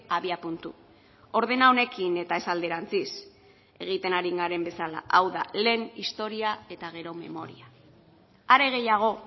abiapuntu ordena honekin eta ez alderantziz egiten ari garen bezala hau da lehen historia eta gero memoria are gehiago